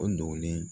O dogolen